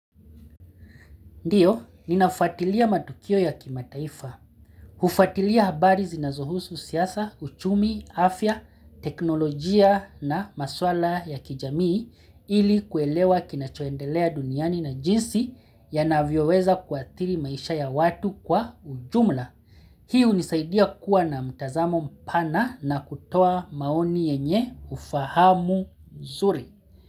Ndiyo, ninafuatilia matukio ya kimataifa, kufatilia habari zinazohusu siasa, uchumi, afya, teknolojia na maswala ya kijamii ili kuelewa kinachoendelea duniani na jinsi yanavyoweza kuathiri maisha ya watu kwa ujumla. Hii hunisaidia kuwa na mtazamo mpana na kutoa maoni yenye ufahamu mzuri.